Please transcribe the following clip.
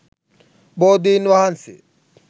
බෝධින් වහන්සේ